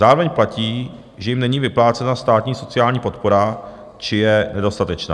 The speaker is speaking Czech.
Zároveň platí, že jim není vyplácena státní sociální podpora či je nedostatečná.